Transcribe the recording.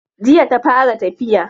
Jiya ta fara tafiya.